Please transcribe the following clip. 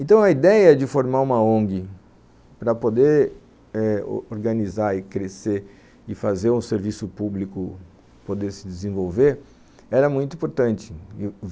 Então a ideia de formar uma ONG para poder eh organizar e crescer e fazer um serviço público poder se desenvolver era muito importante.